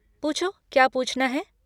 पूछो, क्या पूछना है?